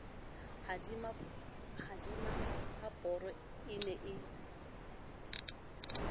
ha tima haboro e ne